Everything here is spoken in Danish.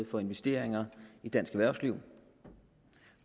for investeringer i dansk erhvervsliv